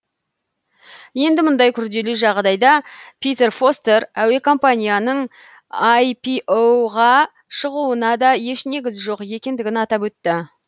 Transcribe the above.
енді мұндай күрделі жағдайда питер фостер әуе компанияның іро ға шығуына да еш негіз жоқ екендігін атап өтті